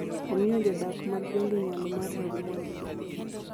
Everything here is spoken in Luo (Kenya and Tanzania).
omiyo jodak mag gwenge nyalo mar rango mwandu gi